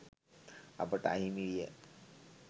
අපට අහිමි විය